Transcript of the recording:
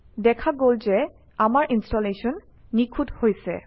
দেখা গল যে আমাৰ ইনষ্টলেশ্যন নিখুঁত হৈছে